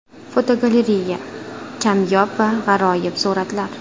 Fotogalereya: Kamyob va g‘aroyib suratlar.